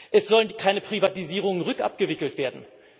Es sollen keine Privatisierungen rückabgewickelt werden.